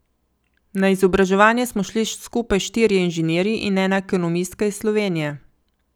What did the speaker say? Na izobraževanje smo šli skupaj štirje inženirji in ena ekonomistka iz Slovenije.